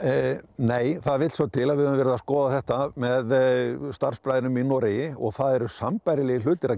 nei það vill svo til að við höfum verið að skoða þetta með starfsbræðrum í Noregi og það eru sambærilegir hlutir að